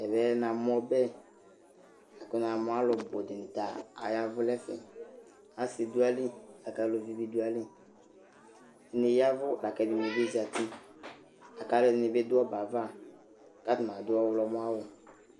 Ɛvɛ namʋ ɔbɛ kʋ namʋ alʋ bʋ dɩnɩ ta aua ɛvʋ nʋ ɛfɛ Asɩ dʋ ayili la kʋ aluvi bɩ dʋ ayili Ɛdɩnɩ ya ɛvʋ la kʋ ɛdɩnɩ bɩ zati la kʋ alʋɛdɩnɩ dʋ ɔbɛ yɛ ava kʋ atanɩ adʋ ɔɣlɔmɔawʋ